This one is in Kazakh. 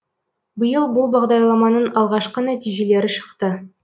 биыл бұл бағдарламаның алғашқы нәтижелері шықты